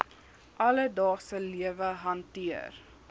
alledaagse lewe hanteer